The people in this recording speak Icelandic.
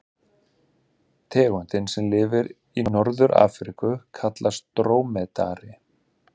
Tegundin sem lifir í Norður-Afríku kallast drómedari.